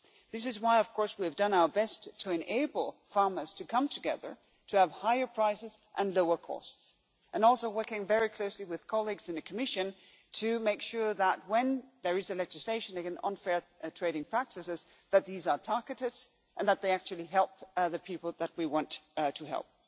This is why we have done our best to enable farmers to come together, to have higher prices and lower costs, and are also working very closely with colleagues in the Commission to make sure that, when there is legislation on unfair trading practices, these are targeted and actually help the people that we want to help.